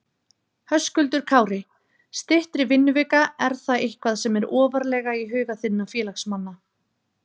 Höskuldur Kári: Styttri vinnuvika, er það eitthvað sem er ofarlega í huga þinna félagsmanna?